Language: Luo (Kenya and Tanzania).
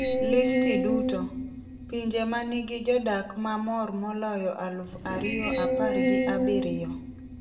Listi duto: Pinje ma nigi jodak ma mor moloyo aluf ariyo apargi abirio